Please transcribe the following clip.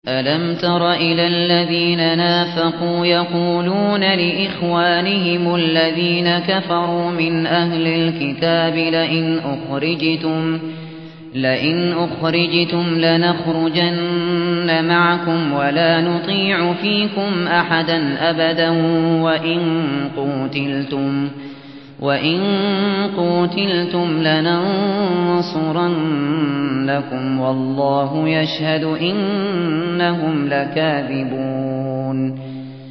۞ أَلَمْ تَرَ إِلَى الَّذِينَ نَافَقُوا يَقُولُونَ لِإِخْوَانِهِمُ الَّذِينَ كَفَرُوا مِنْ أَهْلِ الْكِتَابِ لَئِنْ أُخْرِجْتُمْ لَنَخْرُجَنَّ مَعَكُمْ وَلَا نُطِيعُ فِيكُمْ أَحَدًا أَبَدًا وَإِن قُوتِلْتُمْ لَنَنصُرَنَّكُمْ وَاللَّهُ يَشْهَدُ إِنَّهُمْ لَكَاذِبُونَ